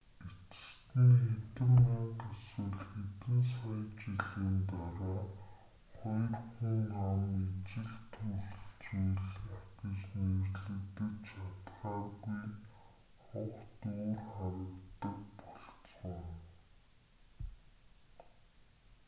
эцэст нь хэдэн мянга эсвэл хэдэн сая жилийн дараа хоёр хүн ам ижил төрөл зүйлийнх гэж нэрлэгдэж чадахааргүй огт өөр харагддаг болцгооно